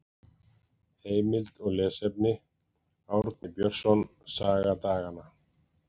Heimild og lesefni: Árni Björnsson, Saga daganna.